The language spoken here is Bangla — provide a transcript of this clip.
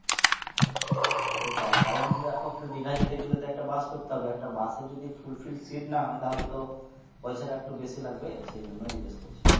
সেটাই কারণ দিঘায় যেতে গেলে তো একটা bus করতে হবে একটা bus এ যদি full filled seat না হয় তাহলে তো পয়সাটা একটু বেশি লাগবে সেই জন্যই জিজ্ঞেস করছি।